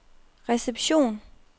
reception